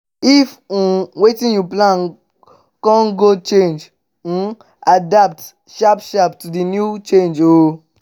if um wetin you plan con go change um adapt sharp sharp to di new change o